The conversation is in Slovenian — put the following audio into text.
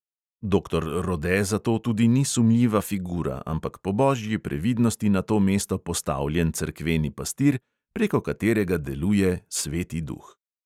Doktor rode zato tudi ni sumljiva figura, ampak po božji previdnosti na to mesto postavljen cerkveni pastir, preko katerega deluje sveti duh.